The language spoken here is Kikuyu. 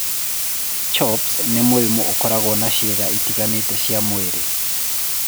CHOPS nĩ mũrimũ ũkoragwo na ciĩga itiganĩte cia mwĩrĩ.